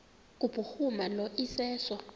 kubhuruma lo iseso